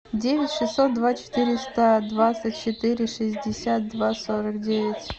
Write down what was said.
девять шестьсот два четыреста двадцать четыре шестьдесят два сорок девять